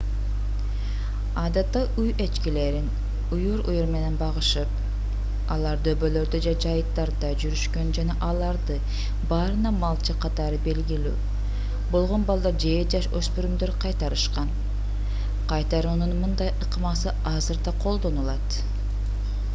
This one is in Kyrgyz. адатта үй эчкилерин үйүр-үйүр менен багышып алар дөбөлөрдө же жайыттарда жүрүшкөн жана аларды баарына малчы катары белгилүү болгон балдар же жаш өспүрүмдөр кайтарышкан кайтаруунун мындай ыкмасы азыр да колдонулат